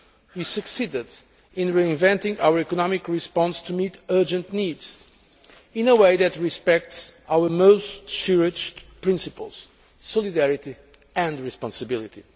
We succeeded in reinventing our economic response to meet urgent needs in a way that respects our most cherished principles solidarity and responsibility.